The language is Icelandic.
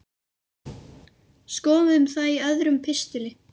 Skoðum það í öðrum pistli.